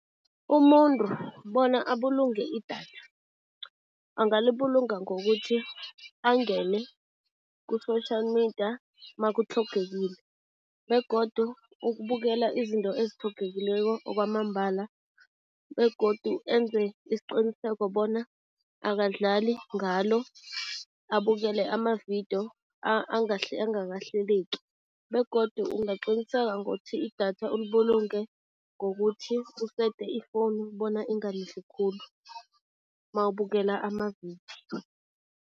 Umuntu bona abulunge idatha, angalibulunga ngokuthi angene ku-social media makutlhogekile begodu ukubukela izinto ezitlhogekileko kwamambala begodu enze isiqiniseko bona akadlali ngalo, abukele ama-video angakahleleki begodu ungaqiniseka ngothi idatha ulibulunge ngokuthi usete ifowunu bona ingalidli khulu mawubukela ama-video.